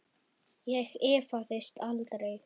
Ég efaðist aldrei.